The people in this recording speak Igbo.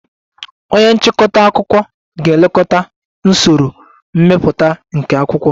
Onye nchịkọta akụkọ ga-elekọta usoro mmepụta nke akwụkwọ